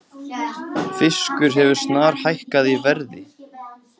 Fiskur hefur snarhækkað í verði